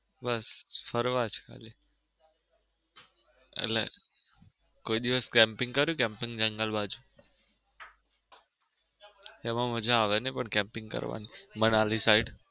બસ ફરવા જ ખાલી એટલે કોઈ દિવસ camping કરિયું camping જંગલ બાજુ? એમાં મજા આવે નઈ પણ કેમ્પિંગ કરવાની મનાલી side.